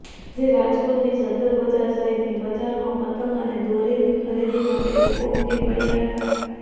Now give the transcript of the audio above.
આજે રાજકોટની સદર બજાર સહિતની બજારોમાં પતંગ અને દોરીની ખરીદી માટે લોકો ઉમટી પડ્યા હતા